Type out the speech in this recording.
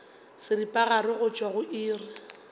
seripagare go tšwa go iri